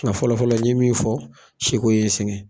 Ŋa fɔlɔfɔlɔ n ye min fɔ seko ye n sɛŋɛn.